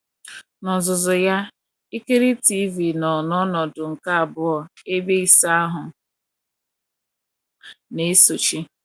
N’ozuzu ya, ikiri TV nọ n’ọnọdụ nke abụọ, ebe ịsa ahụ na - esochi.